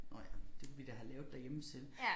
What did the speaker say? Nåh ja det kunne vi da have lavet derhjemme selv